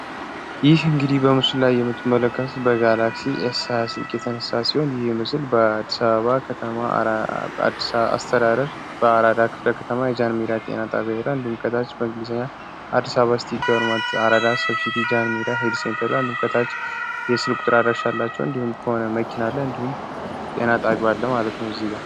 ይህ እንግዲህ በምስሉ ላይ የምትመለከቱት በጋላክሲ ኤስሃያ ስልክ የተነሳ ሲሆን ይህ ምስል በ አዲስ አበባ በአራዳ ክፍለ ከተማ የጃንሜዳ ጤናጣቢያ በሄላ እንድምቀታች በእንግሊዝኛ አድሳባ ስቲ ገርማት አ4ዳ ሰብሲቲ ጃን ሜራ ሄልሴንተላ እንድምቀታች የስልቁጥራ አደራሻ አላቸው እንዲሁም ከሆነ መኪና እንዲሁም ጤና ጣቢያው አለ ማለት ነው።